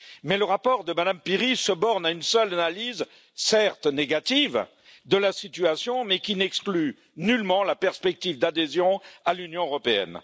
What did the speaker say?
Mais le rapport de Mme Piri se borne à une seule analyse, certes négative, de la situation, mais qui n'exclut nullement la perspective d'adhésion à l'Union européenne.